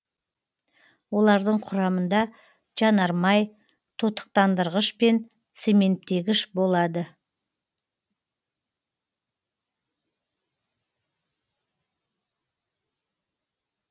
олардың құрамында жанармай тотықтандырғыш пен цементтегіш болады